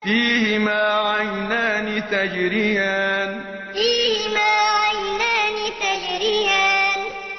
فِيهِمَا عَيْنَانِ تَجْرِيَانِ فِيهِمَا عَيْنَانِ تَجْرِيَانِ